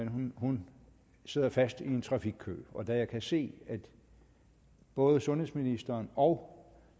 men hun sidder fast i en trafikkø og da jeg kan se at både sundhedsministeren og